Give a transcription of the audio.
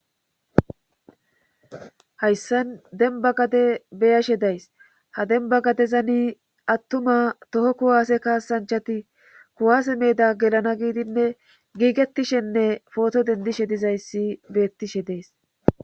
Hayssan denba gade beyashe days ha denba gadezani attuma toho kuwaase kaasanchati kuwaase meeda gelana giidinne giigettishenne footo dendishe dizayssi beettishe dees.